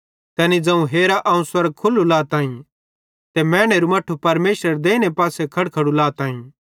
तैनी ज़ोवं हेरा अवं स्वर्ग खुल्लू लाताईं ते मैनेरे मट्ठे परमेशरेरे देइने पासे खड़खड़ो लाताईं